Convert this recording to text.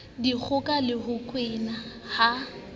dikgoka le ho kwena ha